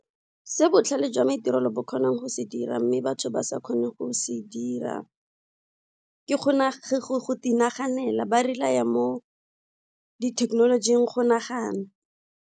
Se botlhale jwa maitirelo bo kgonang go se dira mme batho ba sa kgone go se dira ke go naganela ba rely-er mo di thekenolojing go nagana.